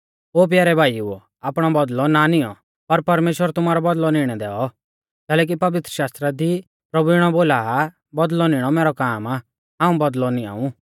ओ प्यारै भाईओ आपणौ बौदल़ौ ना नियौं पर परमेश्‍वर तुमारौ बौदल़ौ निणै दैऔ कैलैकि पवित्रशास्त्रा दी प्रभु इणौ बोला आ बौदल़ौ निणौ मैरौ काम आ हाऊं ऊ बौदल़ौ निआंऊ